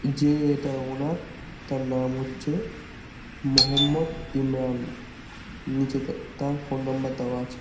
যে এটার ওনার তার নাম হচ্ছে মহম্মদ ইমরান নীচেতে তাঁর ফোন নম্বর দেওয়া আছে।